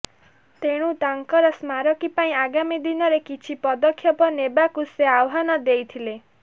ଏଣୁ ତାଙ୍କର ସ୍ମାରକୀ ପାଇଁ ଆଗାମୀ ଦିନରେ କିଛି ପଦକ୍ଷେପ ନେବାକୁ ସେ ଆହ୍ୱାନ ଦେଇଥିଲେ